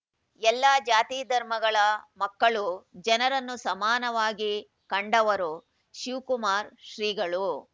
ಎಲ್ಲಾ ಜಾತಿ ಧರ್ಮಗಳ ಮಕ್ಕಳು ಜನರನ್ನೂ ಸಮಾನವಾಗಿ ಕಂಡವರು ಶಿವಕುಮಾರ ಶ್ರೀಗಳು